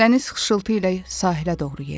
Dəniz xışıltı ilə sahilə doğru yeridi.